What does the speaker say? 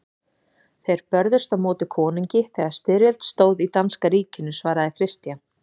Þið börðust á móti konungi þegar styrjöld stóð í danska ríkinu, svaraði Christian.